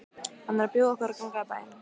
Hann er að bjóða okkur að ganga í bæinn.